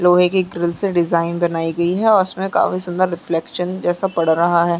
लोहै की किल से डीजाइन बनाई गई है और उसमे काफी सुंदर रिफ्लेक्स्न जेसा पड़ रहा है।